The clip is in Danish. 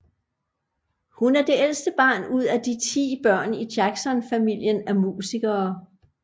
Hun er det ældste barn ud af de 10 børn i Jackson familien af musikere